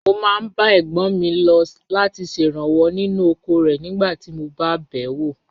Mo máa ń bá ẹ̀gbọ́n mi lọ láti ṣèrànwọ́ nínú oko rẹ̀ nígbà tí mo bá bẹ̀ wò.